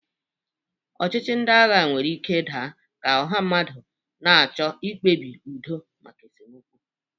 Ọchịchị ndị agha nwere ike daa ka ọha mmadụ na-achọ mkpebi udo maka esemokwu.